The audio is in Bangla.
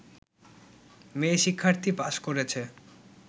মেয়ে শিক্ষার্থী পাস করেছে